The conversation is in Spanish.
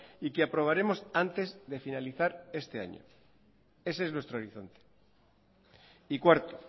y que aprobaremos antes de finalizar este año ese es nuestro horizonte y cuarto